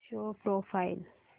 show profile